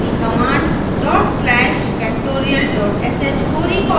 पिछली command /factorial sh को recall करें